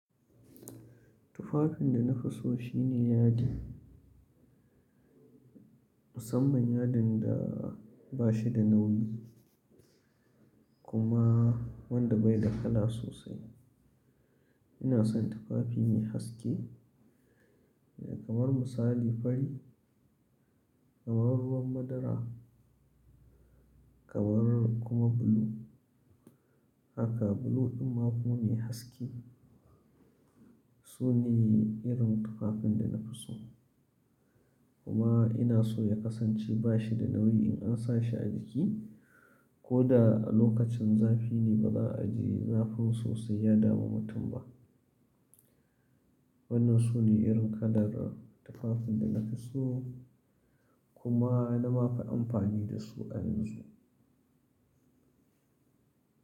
Tufafin da na fi so shine yadi. Musamman yadin da ba shi da nauyi kuma wanda bai da kala sosai. Ina son tufafi mai haske kamar misali fari, kamar ruwan madara kamar kuma blue. Haka blue amma kuma mai haske. Su ne irin tufafin da na fi so kuma ina so ya kasance ba shi da nauyi in an sa shi a jiki ko da a lokacin zafi ne ba za a ji zafin sosai ya damu mutum ba. Wannan su ne irin kalar tufafin da na fi so kuma na ma fi amfani da su a yanzu.